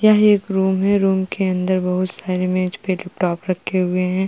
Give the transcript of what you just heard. यह एक रूम है। रूम के अंदर बहोत सारे मेज पे लैपटॉप रखे हुए हैं।